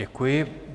Děkuji.